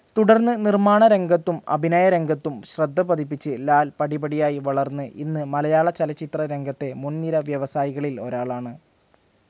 തുടർന്ന് നിർമ്മാണരംഗത്തും അഭിനയരംഗത്തും ശ്രദ്ധപതിപ്പിച്ച് ലാൽ പടിപടിയായി വളർന്ന് ഇന്ന് മലയാളചലച്ചിത്രരംഗത്തെ മുൻനിര വ്യവസായികളിൽ ഒരാളാണ്.